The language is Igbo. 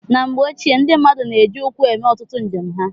Na mgbe ochie, ndị mmadụ na-eji ụkwụ eme ọtụtụ njem ha.